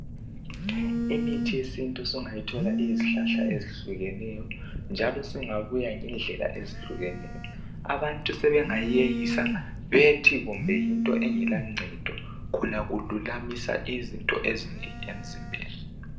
Imithi yesintu sungayithola iyizihlahla ezihlukeneyo njalo singabuya ngendlela ezihlukeneyo. Abantu sebengayeyisa bethi kumbe yinto engelancedo khona kululamisa izinto ezinengi emzimbeni.